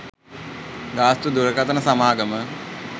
ගාස්තු දුරකථන සමාගම